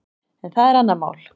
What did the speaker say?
En það er annað mál.